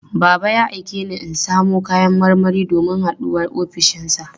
Baba ya aike ni in samo kayan marmari domin haɗuwar ofishinsa.